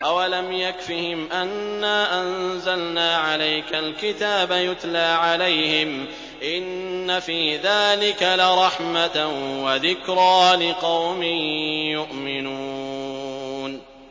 أَوَلَمْ يَكْفِهِمْ أَنَّا أَنزَلْنَا عَلَيْكَ الْكِتَابَ يُتْلَىٰ عَلَيْهِمْ ۚ إِنَّ فِي ذَٰلِكَ لَرَحْمَةً وَذِكْرَىٰ لِقَوْمٍ يُؤْمِنُونَ